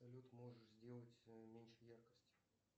салют можешь сделать меньше яркость